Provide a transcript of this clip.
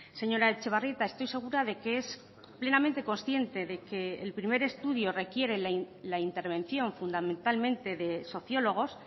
señora etxebarrieta estoy segura de que es plenamente consciente de que el primer estudio requiere la intervención fundamentalmente de sociólogos